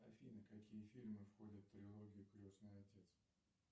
афина какие фильмы входят в трилогию крестный отец